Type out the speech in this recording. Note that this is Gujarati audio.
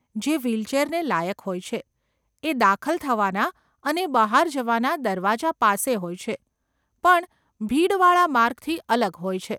જે વ્હીલચેરને લાયક હોય છે, એ દાખલ થવાના અને બહાર જવાના દરવાજા પાસે હોય છે, પણ ભીડ વાળા માર્ગથી અલગ હોય છે.